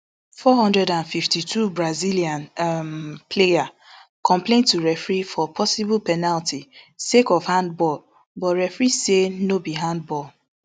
four hundred and fifty-two brazilian um player complain to referee for posible penalty sake of hand ball but referee say no be handball